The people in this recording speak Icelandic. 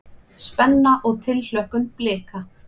Spenna og tilhlökkun Blika